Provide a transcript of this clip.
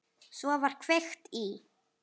Svo var kveikt í.